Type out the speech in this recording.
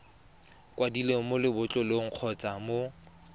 kwadilweng mo lebotlolong kgotsa mo